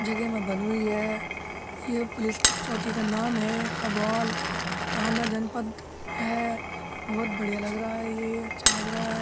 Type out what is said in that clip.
जगहे में बनी हुई है। ये पुलिस की चौकी का नाम है कवाल। थाना जनपद है। बहोत बढ़िया लग रहा है ये अच्छा लग रहा है।